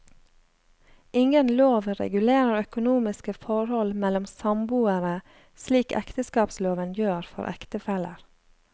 Ingen lov regulerer økonomiske forhold mellom samboere, slik ekteskapsloven gjør for ektefeller.